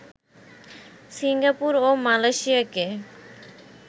Singapore ও মালয়েশিয়াকে